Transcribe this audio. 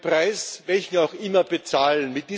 Sie sollen den Preis, welchen auch immer, bezahlen!